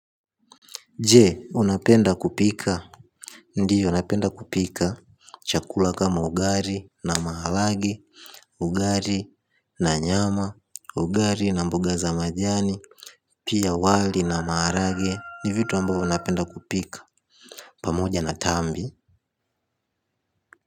Je, unapenda kupika? Ndiyo napenda kupika chakula kama ugali na maharage ugali na nyama, ugali na mboga za majani pia wali na maharage ni vitu ambavyo napenda kupika pamoja na tambi.